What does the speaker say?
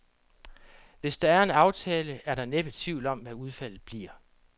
Hvis der er en aftale, er der næppe tvivl om, hvad udfaldet bliver.